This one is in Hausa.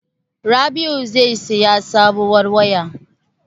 Rabi'u zai saya sabuwar waya.